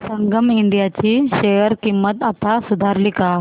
संगम India ची share किंमत आता सुधारली का